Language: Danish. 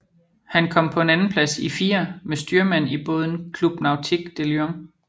Han kom på en andenplads i firer med styrmand i båden Club Nautique de Lyon